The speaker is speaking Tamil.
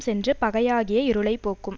சென்று பகையாகிய இருளை போக்கும்